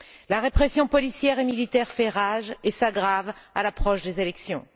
La répression policière et militaire fait rage et s'aggrave à l'approche des élections.